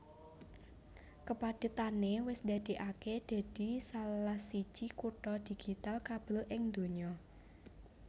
Kapadhetané wis ndadèkaké dadi salah siji kutha digital kabel ing donya